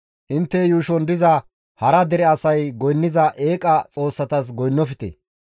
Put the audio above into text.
Intte yuushon diza hara dere asay goynniza eeqa xoossatas goynnofte;